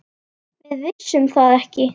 Við vissum það ekki.